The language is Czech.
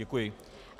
Děkuji.